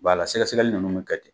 sɛgɛsɛgɛli ninnu bɛ kɛ ten.